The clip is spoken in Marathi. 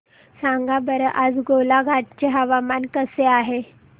सांगा बरं आज गोलाघाट चे हवामान कसे आहे